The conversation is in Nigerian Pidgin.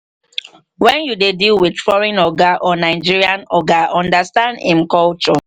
when you dey deal with foreign oga or nigerian oga understand im culture